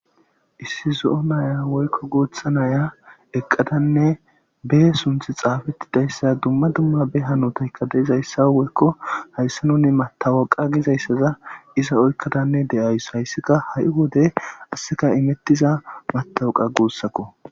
issi zo7o naya woykko gutha naya eqqadanne bee sunthi xaafettidayssa dumma dumma be hanutaykka de7izayssa woykko hayssa nuni matawaqa gizayssaza iza oykkadanne de7ays hayssika ha7i wodey asseka imettiza matawaqa guussakko